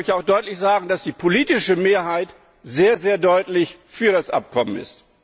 Man muss auch deutlich sagen, dass die politische Mehrheit sehr, sehr deutlich für das Abkommen ist.